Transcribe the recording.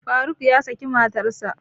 Faruk ya saki matarsa